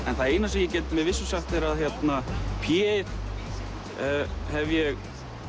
en það eina sem ég get með vissu sagt er að Pje ið hef ég